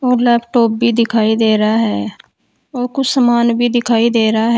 और लैपटॉप भी दिखाई दे रहा है और कुछ सामान भी दिखाई दे रहा है।